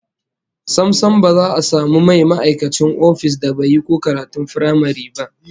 Sam sam, ba za a samu mai ma'aikacin ofis da ba yi ko karatun firamare ba